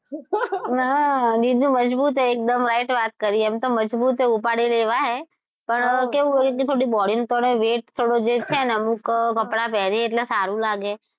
હા જીજુ મજબૂત છે એક દમ right વાત કરી એમ તો મજબૂત છે ઉપાડી લે એવા હે પણ એ કેવું ઓલું થોડી body પર પડે ને થોડો છે ને weight થોડો જે છે ને અમુક કપડાં પેરીએ એટલે સારું લાગે.